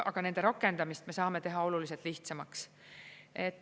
Aga nende rakendamist me saame teha oluliselt lihtsamaks.